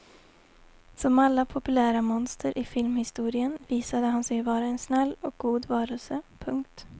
Som alla populära monster i filmhistorien visade han sig vara en snäll och god varelse. punkt